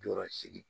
Jɔɔrɔ sigi